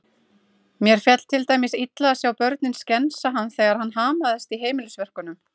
Mér féll til dæmis illa að sjá börnin skensa hann þegar hann hamaðist í heimilisverkum.